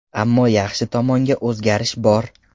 Ammo yaxshi tomonga o‘zgarish bor.